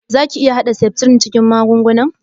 Za ka iƴa hada septrin cikin magungunan?